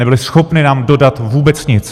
Nebyly schopny nám dodat vůbec nic.